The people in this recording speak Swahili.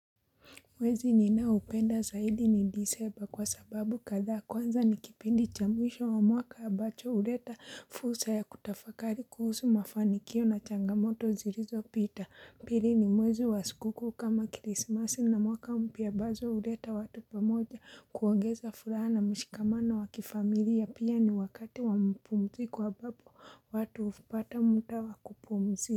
Mwezi ninao upenda zaidi ni disemba kwa sababu kadha kwanza ni kipindi cha mwisho wa mwaka ambacho huleta fursa ya kutafakari kuhusu mafanikio na changamoto zilizo pita pili ni mwezi wa sikukuu kama krisimasi na mwaka mpya ambazo huleta watu pamoja kuongeza furaha na mshikamano wa kifamilia pia ni wakati wa mapumzi ko ambapo watu hupata muda wa kupumzika.